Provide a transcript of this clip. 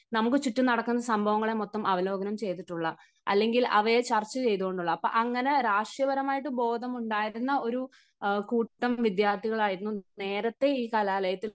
നമുക്ക് ചുറ്റും നടക്കുന്ന സംഭവങ്ങളെ മൊത്തം അവലോകനം ചെയ്തിട്ടുള്ള അല്ലെങ്കിൽ അവയെ ചർച്ചചെയ്തു കൊണ്ടുള്ള, അപ്പം, അങ്ങനെ രാഷ്ട്രീയപരമായി ബോധമുണ്ടായിരുന്നു ഒരു കൂട്ടം വിദ്യാർഥികളായിരുന്നു നേരത്തെ ഈ കലാലയത്തിൽ